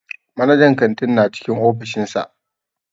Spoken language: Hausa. Manajan kantin na cikin ofishin sa.